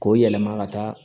K'o yɛlɛma ka taa